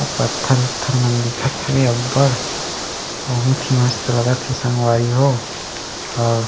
अउ पत्थर उत्थर मन दिखत हवे अब्बड़ बहुत ही मस्त लगत हे संगवारी हो अउ --